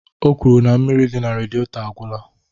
O kwuru na mmiri dị na redietọ agwụla